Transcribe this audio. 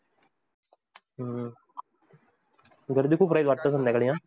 हम्म गर्दी खूप राहील वाटतं संध्याकाळी?